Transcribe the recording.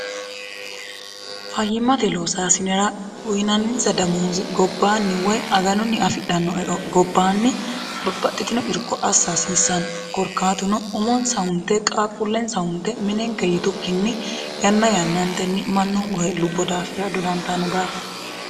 fayyimmate loosaasinera uyinanninsa damuuzi gobbaanni woy aganonni afidhannoe gobbaanni babbaxxitino irko assaasiissani korkaatuno umonsa hunte qaaqqullensa hunte minenge yitukkinni yanna yannaantenni mannohu lohe lubbo daafira dodantaanno daafa